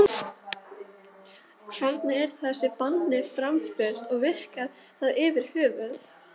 Hvernig er þessu banni framfylgt og virkar það yfir höfuð?